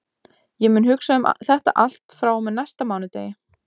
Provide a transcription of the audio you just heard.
Ég mun hugsa um þetta allt frá og með næsta mánudegi.